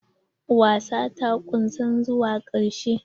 Wasan ta ƙusan zuwa karshe.